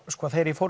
þegar ég fór